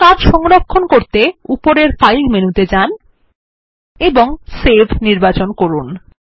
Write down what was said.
আপনার কাজ সংরক্ষণ করতে উপরের ফাইল মেনুতে যান এবং সেভ নির্বাচন করুন